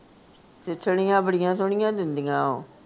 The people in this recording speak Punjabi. ਸਿੱਠਣੀਆਂ ਬੜੀਆਂ ਸੋਹਣੀਆਂ ਦਿੰਦੀਆਂ ਓਹ